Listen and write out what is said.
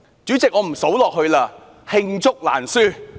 主席，我不再數下去了，因為罄竹難書。